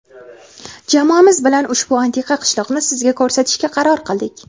Jamoamiz bilan ushbu antiqa qishloqni sizga ko‘rsatishga qaror qildik.